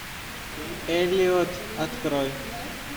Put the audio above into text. эллиот открой